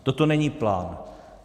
Toto není plán.